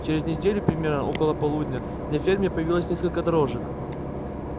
через неделю примерно около полудня на ферме появилось несколько дрожек